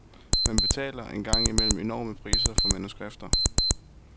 Man betaler engang imellem enorme priser for manuskripter.